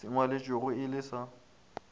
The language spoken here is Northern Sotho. se ngwalwetšwego e le sa